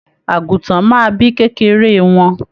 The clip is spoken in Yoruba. Àgùtàn máa bí kékeré wọn.